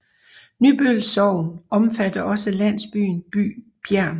Nybøl Sogn omfatter også landsbyen Ny Bjernt